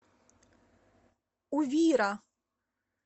увира